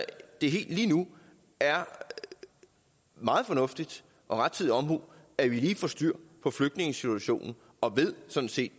det lige nu er meget fornuftigt og rettidig omhu at vi lige får styr på flygtningesituationen og sådan set